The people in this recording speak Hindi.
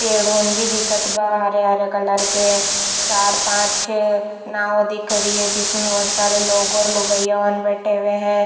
पेड़ों भी दिखत बा हरे-हरे कलर के चार पांच छे नाव दिख रही है जिसमें बहोत सारे लोगो लुगाईन बैठे हुए है।